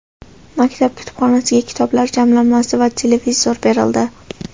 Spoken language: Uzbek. maktab kutubxonasiga kitoblar jamlanmasi va televizor berildi.